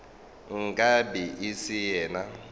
nka be e se yena